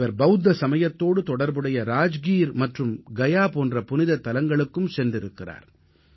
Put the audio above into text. இவர் பௌத்த சமயத்தோடு தொடர்புடைய ராஜ்கீர் மற்றும் கயா போன்ற புனிதத் தலங்களுக்கும் சென்றிருக்கிறார்